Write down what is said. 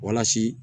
Walasa